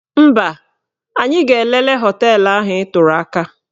Mba, anyị ga-elele họteelụ ahụ ị tụrụ aka.